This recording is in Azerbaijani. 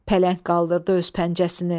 Pələng qaldırdı öz pəncəsini.